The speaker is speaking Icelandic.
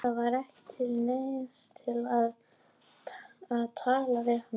Það var ekki til neins að tala við hann.